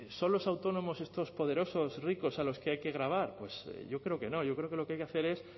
son los autónomos estos poderosos ricos a los que hay que gravar pues yo creo que no yo creo que lo que hay que hacer es